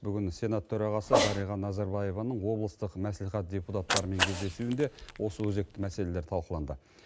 бүгін сенат төрағасы дариға назарбаеваның облыстық мәслихат депутаттарымен кездесуінде осы өзекті мәселелер талқыланды